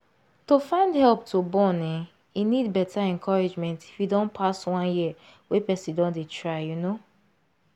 to find help to born ehnn e need better encouragement if e don pass one year wey person don dey try you know